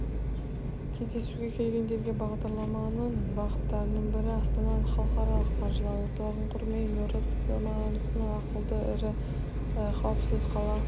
кездесуге келгендерге бағдарламаның бағыттарының бірі астана іалықаралық қаржы орталығын құрумен елордамызды ақылды әрі қауіпсіз қала